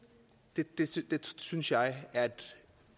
det synes jeg er et